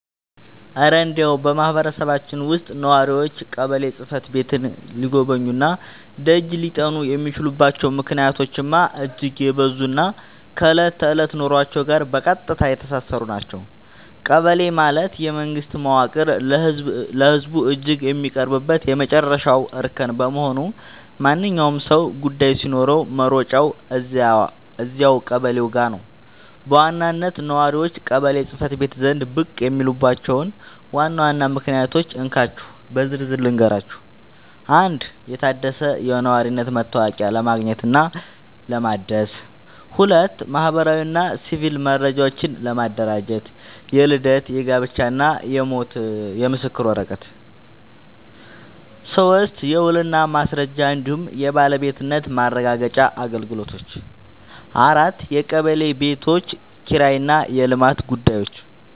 እረ እንደው በማህበረሰባችን ውስጥ ነዋሪዎች ቀበሌ ጽሕፈት ቤትን ሊጎበኙና ደጅ ሊጠኑ የሚችሉባቸው ምክንያቶችማ እጅግ የበዙና ከዕለት ተዕለት ኑሯችን ጋር በቀጥታ የተሳሰሩ ናቸው! ቀበሌ ማለት የመንግስት መዋቅር ለህዝቡ እጅግ የሚቀርብበት የመጨረሻው እርከን በመሆኑ፣ ማንኛውም ሰው ጉዳይ ሲኖረው መሮጫው እዚያው ቀበሌው ጋ ነው። በዋናነት ነዋሪዎች ቀበሌ ጽ/ቤት ዘንድ ብቅ የሚሉባቸውን ዋና ዋና ምክንያቶች እንካችሁ በዝርዝር ልንገራችሁ፦ 1. የታደሰ የነዋሪነት መታወቂያ ለማግኘትና ለማደስ 2. ማህበራዊና ሲቪል መረጃዎችን ለማደራጀት (የልደት፣ የጋብቻና የሞት ምስክር ወረቀት) 3. የውልና ማስረጃ እንዲሁም የባለቤትነት ማረጋገጫ አገልግሎቶች 4. የቀበሌ ቤቶች ኪራይና የልማት ጉዳዮች